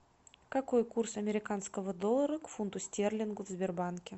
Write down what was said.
какой курс американского доллара к фунту стерлингу в сбербанке